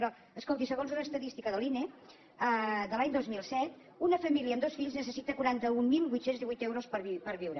però escolti segons una estadística de l’ine de l’any dos mil set una família amb dos fills necessita quaranta mil vuit cents i divuit euros per viure